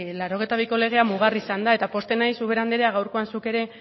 laurogeita biko legea mugarri izan da eta pozten naiz ubera anderea gaurkoan zuk ere